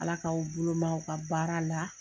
Ala k'aw boloma ka baara la